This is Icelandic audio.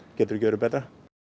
getur ekki verið betra